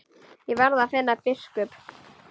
Ég verð að finna biskup!